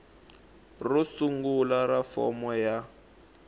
ro sungula ra fomo ya